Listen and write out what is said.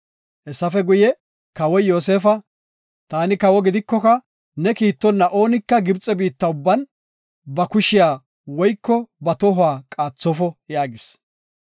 Hessafe guye Kawoy Yoosefa, “Taani kawo gidikoka ne kiittonna oonika Gibxe biitta ubban ba kushiya woyko ba tohuwa qaaxofo” yaagis.